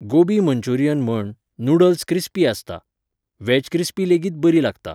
Gobi Manchurian म्हण, noodles crispy आसता. Veg crispy लेगीत बरी लागता,